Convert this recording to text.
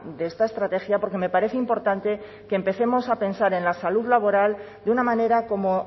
de esta estrategia porque me parece importante que empecemos a pensar en la salud laboral de una manera como